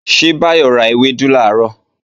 Ṣé Báyọ̀ ra ewédú làárọ̀?